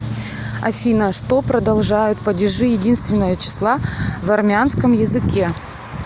афина что продолжают падежи единственного числа в армянском языке